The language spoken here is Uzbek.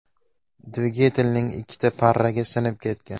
Dvigatelning ikkita parragi sinib ketgan.